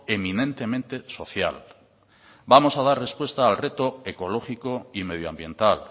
eminentemente social vamos a dar respuesta al resto ecológico y medioambiental